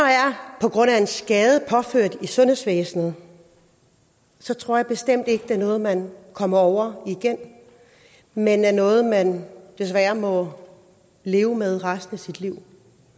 på grund af en skade påført i sundhedsvæsenet tror jeg bestemt ikke det er noget man kommer over igen men er noget man desværre må leve med resten af sit liv